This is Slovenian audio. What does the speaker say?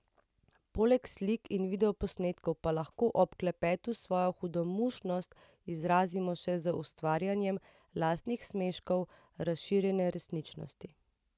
Poleg slik in videoposnetkov pa lahko ob klepetu svojo hudomušnost izrazimo še z ustvarjanjem lastnih smeškov razširjene resničnosti.